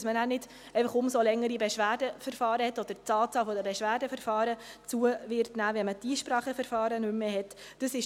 Dies, damit man nicht umso längere Beschwerdeverfahren hat oder die Anzahl der Beschwerdeverfahren zunimmt, wenn man die Einspracheverfahren nicht mehr hat.